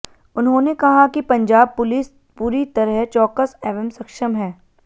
उन्होंने कहा कि पंजाब पुलिस पूरी तरह चौकस एवं सक्षम है